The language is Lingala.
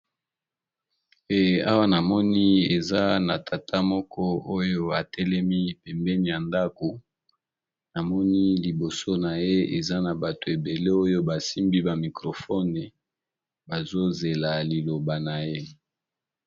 Awa, namoni eza na tata moko, oyo atelemi pembeni ya ndako. Namoni liboso na ye, eza na bato ebele oyo basimbi bamicrofone bazozela liloba na ye.